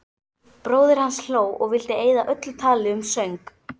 Bróðir hans hló og vildi eyða öllu tali um söng.